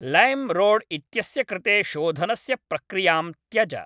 Lime रोड् इत्यस्य कृते शोधनस्य प्रक्रियां त्यज।